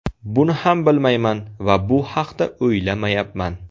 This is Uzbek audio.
Buni ham bilmayman va bu haqda o‘ylamayapman.